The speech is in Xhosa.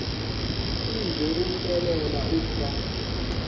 size kumxelela ukuba